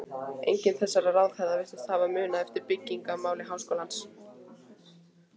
Enginn þessara ráðherra virðist hafa munað eftir byggingamáli háskólans.